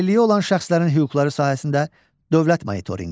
Əlilliyi olan şəxslərin hüquqları sahəsində dövlət monitorinqi.